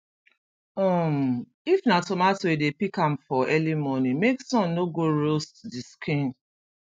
um if na tomato e dey pick am for early morning make sun no go roast the skin